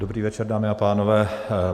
Dobrý večer, dámy a pánové.